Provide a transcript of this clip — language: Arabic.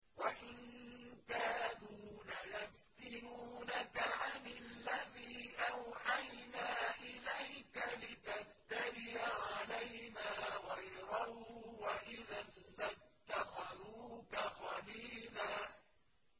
وَإِن كَادُوا لَيَفْتِنُونَكَ عَنِ الَّذِي أَوْحَيْنَا إِلَيْكَ لِتَفْتَرِيَ عَلَيْنَا غَيْرَهُ ۖ وَإِذًا لَّاتَّخَذُوكَ خَلِيلًا